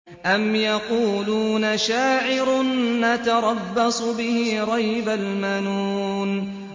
أَمْ يَقُولُونَ شَاعِرٌ نَّتَرَبَّصُ بِهِ رَيْبَ الْمَنُونِ